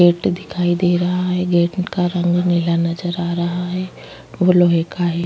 Gate दिखाई दे रहा है गेट का रंग नीला नज़र आ रहा है वो लोहे का है।